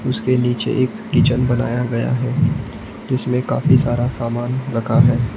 उसके नीचे एक किचन बनाया गया है जिसमें काफी सारा समान रखा है।